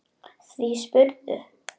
Því spyrðu?